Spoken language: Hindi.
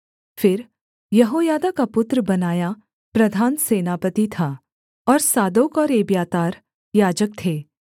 फिर यहोयादा का पुत्र बनायाह प्रधान सेनापति था और सादोक और एब्यातार याजक थे